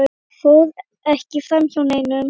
fór ekki framhjá neinum.